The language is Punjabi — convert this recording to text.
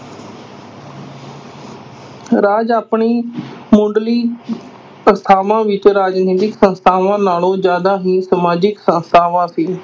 ਰਾਜ ਆਪਣੀ ਮੁੱਢਲੀ ਅਵਸਥਾਵਾਂ ਵਿਚ ਰਾਜਨੀਤਿਕ ਸੰਸਥਾਵਾਂ ਨਾਲੋਂ ਜ਼ਿਆਦਾ ਹੀ ਸਮਾਜਿਕ ਸੰਸਥਾਵਾਂ ਸੀ।